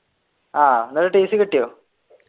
ആഹ് അന്നിട്ട് tc കിട്ടിയോ?